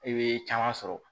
I bɛ caman sɔrɔ